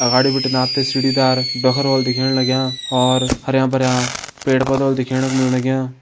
अगाड़ी बिटिन आप तें सीढ़ी दार ढोखरा होला दिखेण लग्यां और हरयां भरयां पेड़ पौधा होला दिखेण क मिल लग्यां।